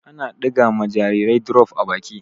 Ana ɗiga ma jarirai drof a baki.